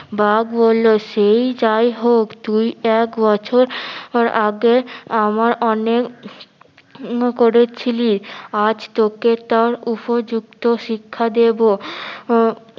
বাঘ বললো সেই যাইহোক তুই এক বছর পর আগের আমার অনেক করেছিলি আজ তোকে তার উপযুক্ত শিক্ষা দিব আহ